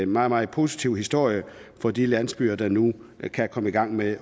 meget meget positiv historie for de landsbyer der nu kan komme i gang med